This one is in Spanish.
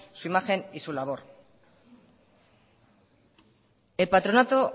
su imagen y su labor el patronato